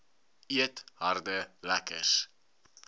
eet harde lekkers